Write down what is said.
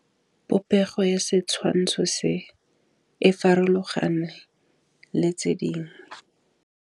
Popêgo ya setshwantshô se, e farologane le tse dingwe.